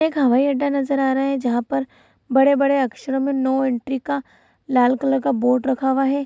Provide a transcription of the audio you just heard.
एक हवाई अड्डा नजर आ रहा हैं जहां पर बड़े-बड़े अक्षरों मे नो एंट्री का लाल कलर का बोर्ड रखा हुआ है।